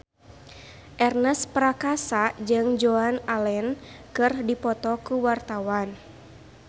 Ernest Prakasa jeung Joan Allen keur dipoto ku wartawan